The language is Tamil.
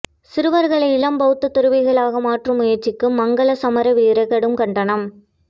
சிறுவர்களை இளம்பௌத்த துறவிகளாக மாற்றும் முயற்சிக்கு மங்கள சமரவீர கடும் கண்டனம்